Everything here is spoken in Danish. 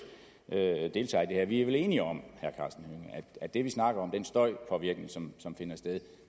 deltager i det her vi er vel enige om at det vi snakker om den støjpåvirkning som som finder sted